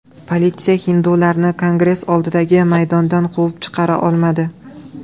Politsiya hindularni Kongress oldidagi maydondan quvib chiqara olmadi.